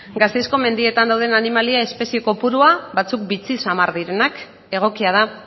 gasteizko mendietan dauden animalia espezie kopurua batzuk bitxi xamar direnak egokia da